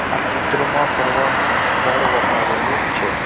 આ ચિત્રમાં ફરવાનું સ્થળ બતાવેલું છે.